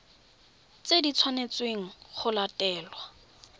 tse di tshwanetsweng go latelwa